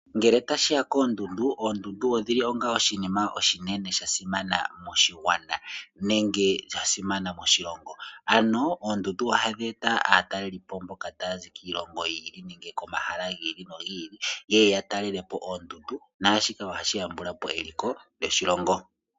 Ngele tashi ya koondundu , oondundu odhili onga oshinima oshinene shasimana moshigwana nenge sha simana moshilongo, ano oondundu ohadhi e ta aatalelipo mboka taya zi kiilongo yi ili nenge komahala gi ili nogi ili, yeye ya talele po oondundu, naashino ohashi yambula po eliko lyoshilongo.